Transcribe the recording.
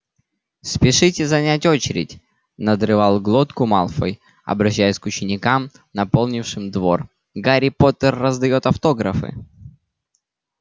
спешите занять очередь надрывал глотку малфой обращаясь к ученикам наполнившим двор гарри поттер раздаёт автографы